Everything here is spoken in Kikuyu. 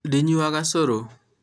ndinyuaga cũrũ